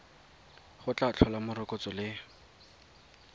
go tla tlhola morokotso le